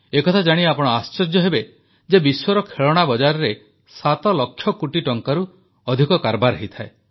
ଏକଥା ଜାଣି ଆପଣ ଆଶ୍ଚର୍ଯ୍ୟାନ୍ୱିତ ହେବେ ଯେ ବିଶ୍ୱର ଖେଳଣା ବଜାରରେ 7 ଲକ୍ଷ କୋଟି ଟଙ୍କାରୁ ଅଧିକର କାରବାର ହୁଏ